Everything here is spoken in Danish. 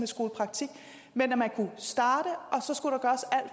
skolepraktik men at man kunne starte